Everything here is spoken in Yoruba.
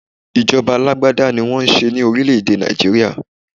Ìjọba alágbádá ní wọ́n n ṣe ní orílè èdè Nigeria.